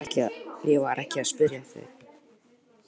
Ég var ekki að spyrja þig.